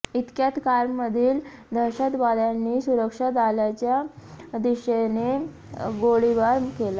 इतक्यात कारमधील दहशतवाद्यांनी सुरक्षा दलाच्या दिशेने गोळीबार केला